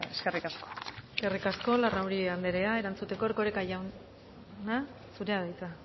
eskerrik asko eskerrik asko larrauri andrea erantzuteko erkoreka jauna zurea da hitza